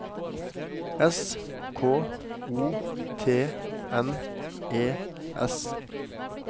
S K O T N E S